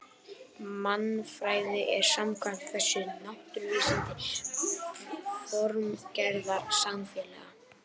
Mannfræðin er samkvæmt þessu náttúruvísindi formgerðar samfélaga.